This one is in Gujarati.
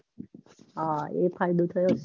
હા એ ફાયદો થયો હશે